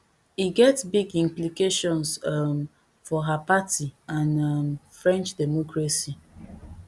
e get big implications um for her her party and um french democracy